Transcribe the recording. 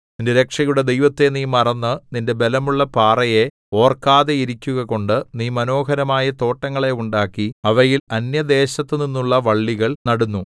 നിന്റെ രക്ഷയുടെ ദൈവത്തെ നീ മറന്നു നിന്റെ ബലമുള്ള പാറയെ ഓർക്കാതെയിരിക്കുകകൊണ്ടു നീ മനോഹരമായ തോട്ടങ്ങളെ ഉണ്ടാക്കി അവയിൽ അന്യദേശത്തുനിന്നുള്ള വള്ളികൾ നടുന്നു